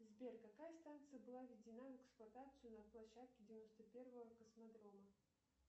сбер какая станция была введена в эксплуатацию на площадке девяносто первого космодрома